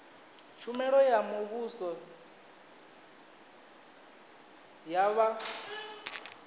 tshumelo ya muvhuso ya vha